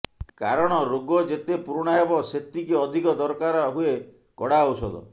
କାରଣ ରୋଗ ଯେତେ ପୁରୁଣା ହେବ ସେତିକି ଅଧିକ ଦରକାର ହୁଏ କଡ଼ା ଔଷଧ